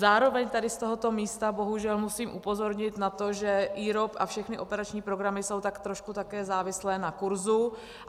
Zároveň tady z tohoto místa bohužel musím upozornit na to, že IROP a všechny operační programy jsou tak trošku také závislé na kurzu.